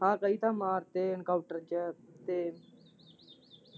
ਹਾਂ ਕਈ ਤਾਂ ਮਾਰਤੇ encounter ਚ ਤੇ।